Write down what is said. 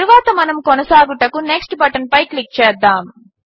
తరువాత మనము కొనసాగుటకు నెక్స్ట్ బటన్పై క్లిక్ చేద్దాము